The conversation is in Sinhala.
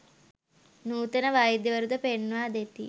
නූතන වෛද්‍යවරු ද පෙන්වා දෙති.